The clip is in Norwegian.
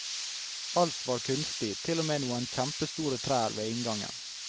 Alt var kunstig, til og med noen kjemepstore trær ved inngangen.